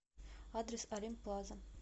адрес олимп плаза